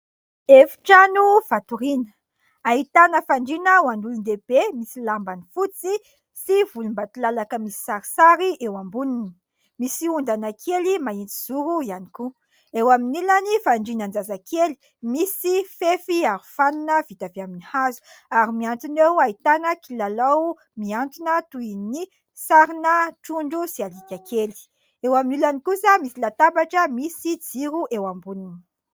efitrano fatoriana ahitana fandriana ho an'olon-debe nisy lamban'ny fotsy sy volombatilalaka misy sarisary eo amboniny misy ondana kely mahintsizoro ihany koa eo amin'n'ilany fandrinan- jazakely misy fefy aro fanona vita avy amin'ny hazo ary miantona eo hahitana kilalao miantona tohiny sarina trondro sy alita kely eo amin'nyoloany kosa misy latabatra misy jiro eo amboniny